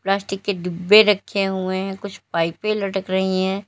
Plastic के डिब्बे रखे हुए हैं कुछ पाइपें लटक रही हैं।